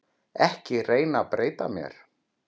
Ekki reyna að breyta mér.